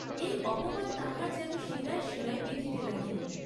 এই অপমান তাহার যেন শিরায় শিরায় বিঁধিতে লাগিল।